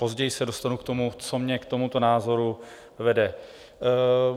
Později se dostanu k tomu, co mě k tomuto názoru vede.